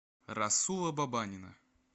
расула бабанина